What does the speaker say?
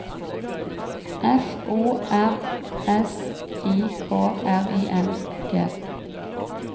F O R S I K R I N G